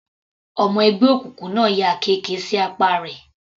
Ọmọ ẹgbẹ́ òkùnkùn náà ya àkekè sí apá rẹ̀.